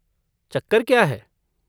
चक्कर क्या है?